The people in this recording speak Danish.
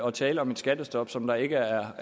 at tale om et skattestop som der ikke er